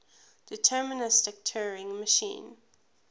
deterministic turing machine